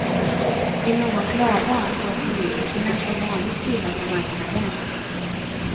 Vill någon klaga får politikerna som vanligt skylla på marknaden.